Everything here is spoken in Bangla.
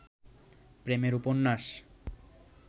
প্রেমের উপন্যাস